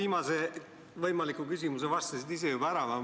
Sa ühe võimaliku küsimuse vastasid juba ära.